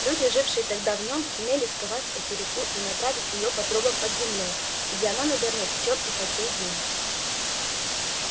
люди жившие тогда в нем сумели сковать эту реку и направить её по трубам под землёй где она наверное течёт и по сей день